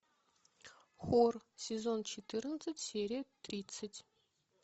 хор сезон четырнадцать серия тридцать